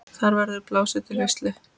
Þar verður blásið til veislu.